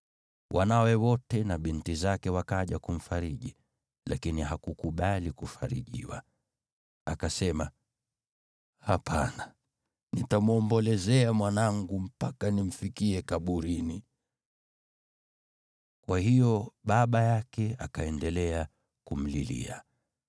Wanawe wote na binti zake wakaja kumfariji, lakini hakukubali kufarijiwa. Akasema, “Hapana, nitamwombolezea mwanangu mpaka nimfikie kaburini.” Kwa hiyo baba yake akaendelea kumlilia.